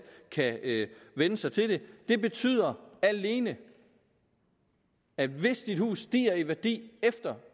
kan vænne sig til det det betyder alene at hvis ens hus stiger i værdi efter